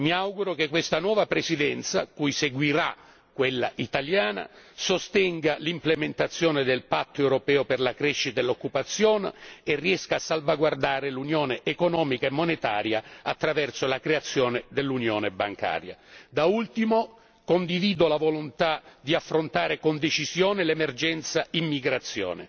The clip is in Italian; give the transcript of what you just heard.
Mi auguro che questa nuova Presidenza, cui seguirà quella italiana, sostenga l'implementazione del Patto europeo per la crescita e l'occupazione e riesca a salvaguardare l'unione economica e monetaria attraverso la creazione dell'unione bancaria. Da ultimo, condivido la volontà di affrontare con decisione l'emergenza immigrazione.